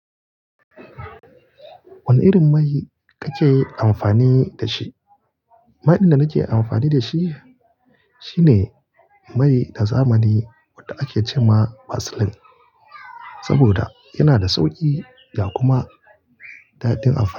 Wane irin mai kake amfani da shi? Mai din da nake amfani da shi, shine mai na zamani wanda ake ce ma vaseline, saboda yana da sauƙi da kuma dadin amfani.